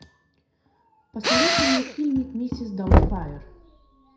посоветуй мне фильмик миссис даутфайр